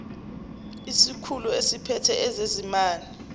isikhulu esiphethe ezezimali